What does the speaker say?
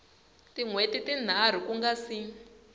hweti tinharhu ku nga si